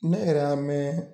Ne yɛrɛ y'a mɛn